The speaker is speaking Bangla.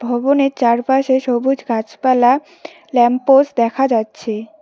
ভবনের চার পাশে সবুজ গাছপালা ল্যাম্প পোস্ট দেখা যাচ্ছে।